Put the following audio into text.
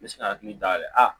N bɛ se ka hakili dayɛlɛ a